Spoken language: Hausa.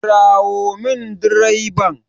Kirawo min direban!